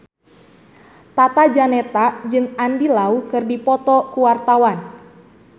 Tata Janeta jeung Andy Lau keur dipoto ku wartawan